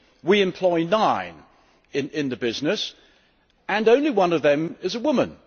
We employee nine in the business and only one of them is a woman.